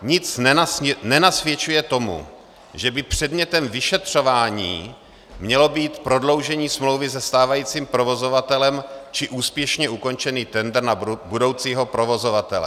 Nic nenasvědčuje tomu, že by předmětem vyšetřování mělo být prodloužení smlouvy se stávajícím provozovatelem či úspěšně ukončený tendr na budoucího provozovatele.